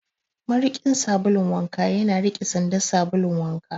Mariƙin sabulun wanka yana rike sandan sabulun wanka.